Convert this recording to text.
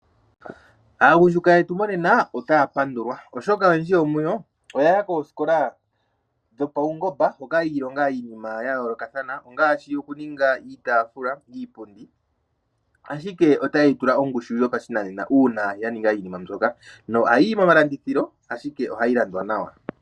Aagundjuka yetu monena otaya pandulwa, oshoka oyendji yomuyo oya ya koosikola dhopaungomba hoka ya ilonga iinima ya yoolokathana ngaashi okuninga iitaafula niipundi, ashike otaye yi tula ongushu ndji yopashinanena uuna ya ninga iinima mbyoka. Ohayi yi momalandithilo ashike ohayi landwa nawa.